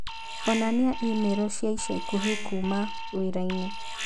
onania i-mīrū cia ica ikuhĩ kũũma wĩrainĩ